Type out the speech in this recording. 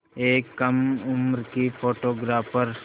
एक कम उम्र की फ़ोटोग्राफ़र